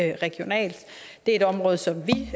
regionalt det er et område som vi